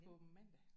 På mandag